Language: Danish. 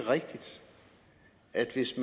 havde disse